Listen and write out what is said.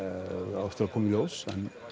á eftir að koma í ljós